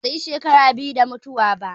Kaka ta bata yi shekara biyu da mutuwa ba